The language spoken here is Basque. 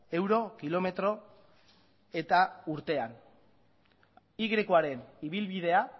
euro kilometro eta urtean y akoaren ibilbidea